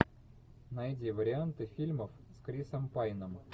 найди варианты фильмов с крисом пайном